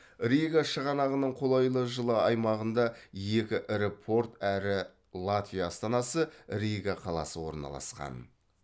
рига шығанағының қолайлы жылы аймағында екі ірі порт әрі латвия астанасы рига қаласы орналасқан